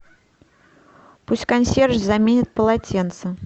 пусть консьерж заменит полотенце